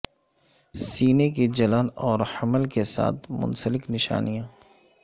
سینے کی جلن اور حمل کے ساتھ منسلک نشانیاں